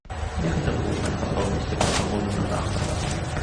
я хотел бы узнать подробности про погоду на завтра в отеле